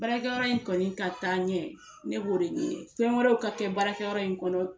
Baarakɛyɔrɔ in kɔni ka taa ɲɛ ne b'o de ɲini fɛn wɛrɛw ka kɛ baarakɛyɔrɔ in kɔnɔ